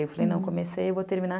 Eu falei, não, comecei, vou terminar.